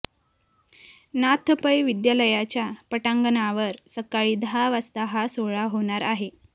नाथ पै विद्यालयाच्या पटांगणावर सकाळी दहा वाजता हा सोहळा होणार आहे